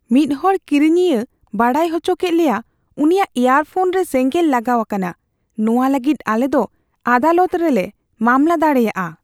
ᱢᱤᱫ ᱦᱚᱲ ᱠᱤᱨᱤᱧᱤᱭᱟᱹ ᱵᱟᱰᱟᱭ ᱚᱪᱚᱠᱮᱫ ᱞᱮᱭᱟ, ᱩᱱᱤᱭᱟᱜ ᱤᱭᱟᱨᱯᱷᱳᱱ ᱨᱮ ᱥᱮᱸᱜᱮᱞ ᱞᱟᱜᱟᱣ ᱟᱠᱟᱱᱟ ᱾ ᱱᱚᱶᱟ ᱞᱟᱹᱜᱤᱫ ᱟᱞᱮ ᱫᱚ ᱟᱫᱟᱞᱚᱛ ᱨᱮ ᱞᱮ ᱢᱟᱢᱞᱟ ᱫᱟᱲᱮᱭᱟᱜᱼᱟ ᱾